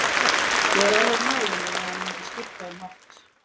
Ég var alveg á nálum um að hann mundi skipta um átt.